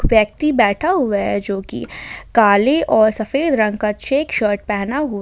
व्यक्ति बैठा हुआ है जोकि काले और सफेद रंग का चेक शर्ट पहना हुआ--